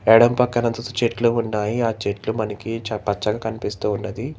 ఎడం పక్కన చెట్లు ఉన్నాయి ఆ చెట్లు మనకి చ పచ్చగా కనిపిస్తూ ఉన్నది.